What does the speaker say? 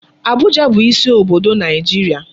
Abuja bụ isi obodo Naịjirịa.